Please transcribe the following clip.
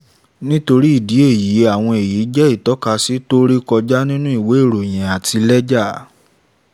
nítorí ìdí èyí àwọn èyí jẹ́ ìtọ́kasí tó rékọjá nínú ìwé ìròyìn àti lẹ́jà.